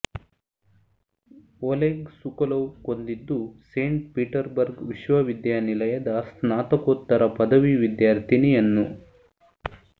ಒಲೆಗ್ Sokolov ಕೊಂದಿದ್ದು Saint Petersburg ವಿಶ್ವವಿದ್ಯಾನಿಲಯದ ಸ್ನಾತಕೋತ್ತರ ಪದವಿ ವಿದ್ಯಾರ್ಥಿನಿಯನ್ನು